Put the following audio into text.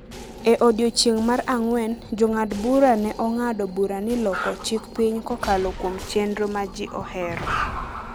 E odiechieng’ mar ang’wen, Jong'ad bura ne ong’ado bura ni loko chik piny kokalo kuom chenro ma ji ohero